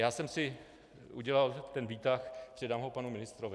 Já jsem si udělal ten výtah, předám ho panu ministrovi.